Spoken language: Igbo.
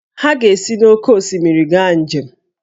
Ha ga-esi n’oké osimiri gaa njem